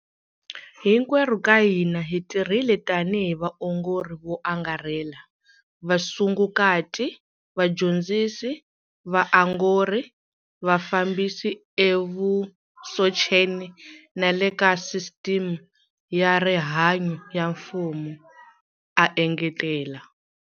Hinkwerhu ka hina hi tirhile tanihi vaongori vo angarhela, vasungukati, vadyondzisi va vaongori na vafambisi evusocheni na le ka sisiteme ya rihanyu ya mfumo, a engetela.